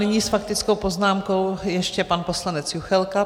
Nyní s faktickou poznámkou ještě pan poslanec Juchelka.